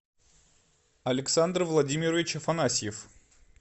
александр владимирович афанасьев